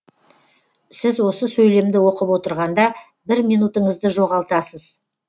сіз осы сөйлемді оқып отырғанда бір минутыңызды жоғалтасыз